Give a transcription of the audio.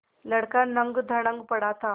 लड़का नंगधड़ंग पड़ा था